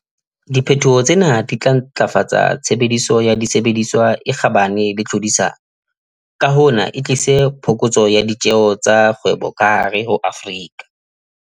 Di phetoho tsena di tla ntlafatsa tshebediso ya disebediswa e kgabane le tlhodisano, ka hona e tlise phokotso ya ditjeho tsa kgwebo ka hare ho Afrika